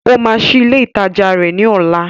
Ó máa ṣí ilé ìtajà rẹ̀ ní ọ̀la